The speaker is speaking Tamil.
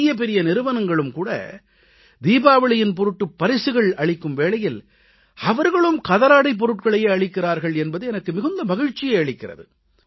பெரிய பெரிய நிறுவனங்களும் தீபாவளியின் பொருட்டு பரிசுகள் அளிக்கும் வேளையில் அவர்களும் கதராடைப் பொருட்களையே அளிக்கிறார்கள் என்பது எனக்கு மிகுந்த மகிழ்ச்சியை அளிக்கிறது